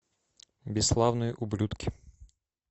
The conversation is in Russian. бесславные ублюдки